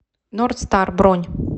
норд стар бронь